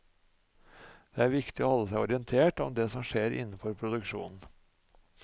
Det er viktig å holde seg orientert om det som skjer innenfor produksjonen.